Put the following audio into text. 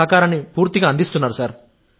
తమ సహకారాన్ని కూడా అందిస్తారు